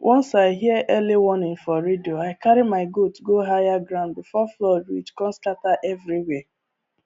once i hear early warning for radio i carry my goat go higher ground before flood reach come scatter everywhere